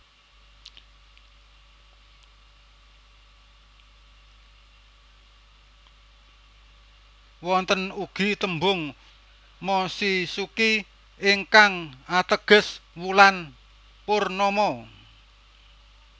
Wonten ugi tembung mochizuki ingkang ateges wulan purnama